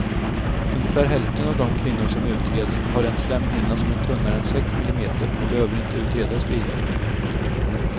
Ungefär hälften av de kvinnor som utreds har en slemhinna som är tunnare än sex millimeter och behöver inte utredas vidare.